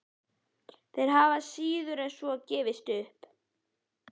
Þeir hafa síður en svo gefist upp.